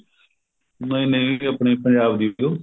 ਨਹੀਂ ਨਹੀਂ ਇਹ ਆਪਣੀ ਪੰਜਾਬ ਦੀ ਉਹ